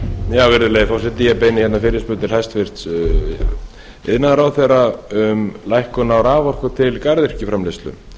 virðulegi forseti ég beini hérna fyrirspurn til hæstvirts iðnaðarráðherra um lækkun á raforku til